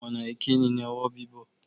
Ọ̀nà ìkíni ni ọwọ́ bíbọ̀.